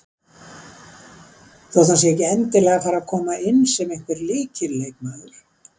Þó hann sé ekki endilega að fara að koma inn sem einhver lykilleikmaður.